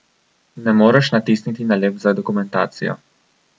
Ne moreš natisniti nalepk za dokumentacijo.